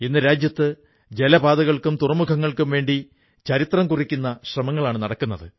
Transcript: ഇന്ന് രാജ്യത്ത് ജലപാതകൾക്കും തുറമുഖങ്ങൾക്കുംവേണ്ടി ചരിത്രം കുറിക്കുന്ന ശ്രമങ്ങളാണു നടക്കുന്നത്